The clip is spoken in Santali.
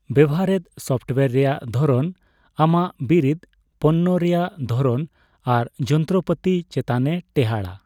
ᱵᱮᱣᱦᱟᱨᱮᱫ ᱥᱚᱯᱴᱣᱮᱨ ᱨᱮᱭᱟᱜ ᱫᱷᱚᱨᱚᱱ ᱟᱢᱟᱜ ᱵᱤᱨᱤᱛ, ᱯᱚᱱᱱᱚ ᱨᱮᱭᱟᱜ ᱫᱷᱚᱨᱚᱱ ᱟᱨ ᱡᱚᱱᱛᱨᱚ ᱯᱟᱛᱤ ᱪᱮᱛᱟᱱ ᱮ ᱴᱮᱸᱦᱟᱰᱟᱭ ᱾